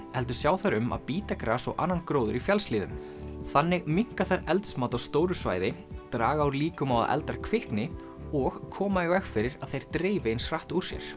heldur sjá þær um að bíta gras og annan gróður í fjallshlíðum þannig minnka þær eldsmat á stóru svæði draga úr líkum á að eldar kvikni og koma í veg fyrir að þeir dreifi eins hratt úr sér